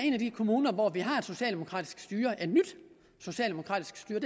en af de kommuner hvor vi har et socialdemokratisk styre et nyt socialdemokratisk styre